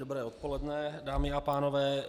Dobré odpoledne, dámy a pánové.